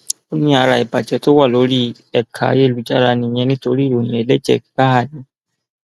ó ní ara ìbàjẹ tó wà lórí ẹka ayélujára nìyẹn nítorí ìròyìn ẹlẹjẹ gbáà ni